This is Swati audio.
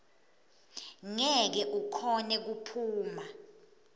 ngeke ukhone kuphuma